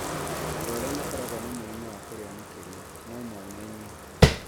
Andũ arĩa makoragwo na mũrimũ wa kũrĩa makĩria no monanie